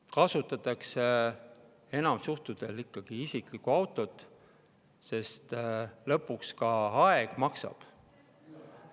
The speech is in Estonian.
Enamikul juhtudel kasutatakse ikkagi isiklikku autot, sest lõpuks ka aeg maksab.